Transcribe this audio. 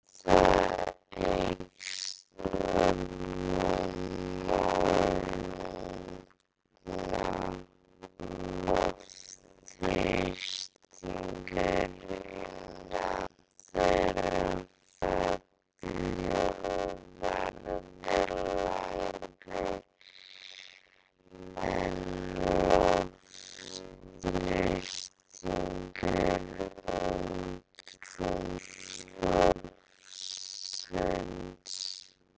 Við það eykst rúmmál lungna, loftþrýstingur innan þeirra fellur og verður lægri en loftþrýstingur andrúmsloftsins.